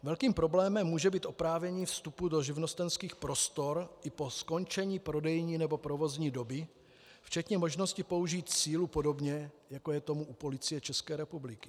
Velkým problémem může být oprávnění vstupu do živnostenských prostor i po skončení prodejní nebo provozní doby, včetně možnosti použít sílu, podobně jako je tomu u Policie České republiky.